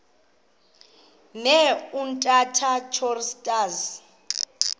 ne umtata choristers